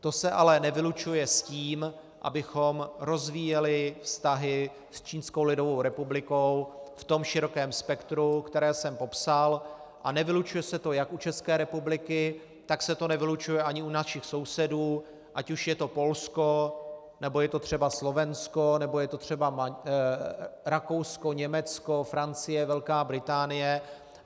To se ale nevylučuje s tím, abychom rozvíjeli vztahy s Čínskou lidovou republikou v tom širokém spektru, které jsem popsal, a nevylučuje se to jak u České republiky, tak se to nevylučuje ani u našich sousedů, ať už je to Polsko, nebo je to třeba Slovensko, nebo je to třeba Rakousko, Německo, Francie, Velká Británie.